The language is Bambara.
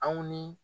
Aw ni